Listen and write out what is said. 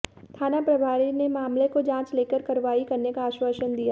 थाना प्रभारी ने मामले को जांच लेकर कार्रवाई करने का आश्वासन दिया है